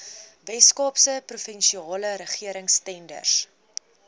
weskaapse provinsiale regeringstenders